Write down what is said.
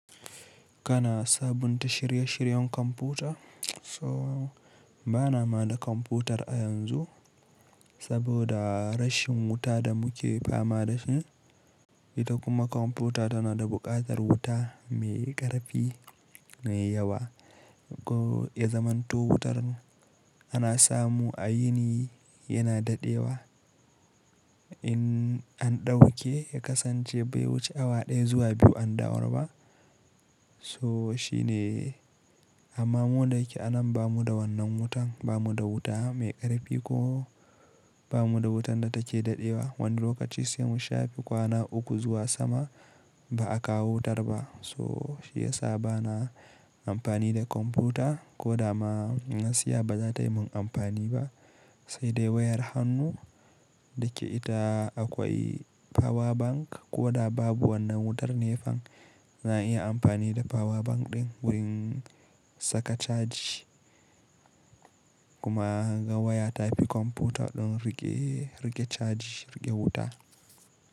Kana sabunta shirye-shiryen kwamfuta? So bana ma da kwamfutar a yanzu saboda rashin wuta da muke fama da shi. Ita kuma kwamfuta tana da buƙatar wuta mai ƙarfi mai yawa. Ko ya zamanto wutar ana samu a yini yana daɗewa. In an ɗauke ya kasance bai wuce awa ɗaya zuwa biyu an dawo ba. So shi ne, amma mu da yake anan ba mu da wannan wutan. Ba mu da wuta mai ƙarfi ko ba mu da wutar da take daɗewa. Wani lokaci sai mun shafe kwana uku zuwa sama ba a kawo wutar ba. So shi ya sa bana amfani da kwamfuta ko da ma nasiya ba za ta yi min amfani ba. Sai dai wayar hannu da ke ita akwai power bank ko da babu wannan wutar nefan za a iya amfani da power bank ɗin wurin saka caji kuma ga waya tafi kwamfuta ɗin riƙe, riƙe caji, riƙe wuta.